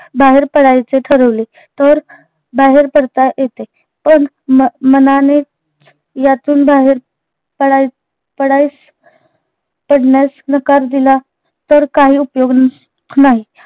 बाहेर पडायचे ठरवले तर बाहेर पडता येते पण मन मनानेच यातून बाहेर पडाय पडायस पडण्यास नकार दिला तर काही उपयोग ना नाही